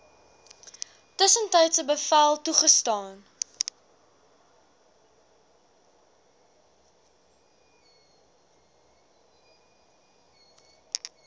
tussentydse bevel toegestaan